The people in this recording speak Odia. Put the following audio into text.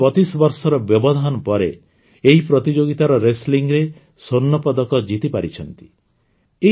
ସେ ଦୀର୍ଘ ବତିଶ ବର୍ଷର ବ୍ୟବଧାନ ପରେ ଏହି ପ୍ରତିଯୋଗିତାର Wrestlingରେ ସ୍ୱର୍ଣ୍ଣପଦକ ଜିତିପାରିଛନ୍ତି